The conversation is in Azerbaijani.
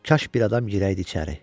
Kaş bir adam girəydi içəri.